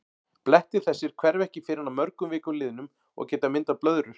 Blettir þessir hverfa ekki fyrr en að mörgum vikum liðnum og geta myndað blöðrur.